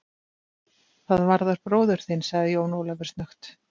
Það varðar bróður þinn, sagði Jón Ólafur snöggt.